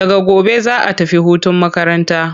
Daga gobe za'a tafi hutun makaranta.